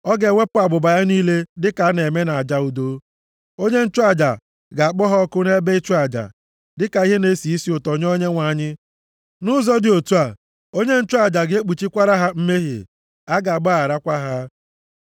Ọ ga-ewepụ abụba ya niile dịka a na-eme nʼaja udo. Onye nchụaja ga-akpọ ha ọkụ nʼebe ịchụ aja, dịka ihe na-esi isi ụtọ nye Onyenwe anyị. Nʼụzọ dị otu a, onye nchụaja a ga-ekpuchikwara ha mmehie. A ga-agbagharakwa ha.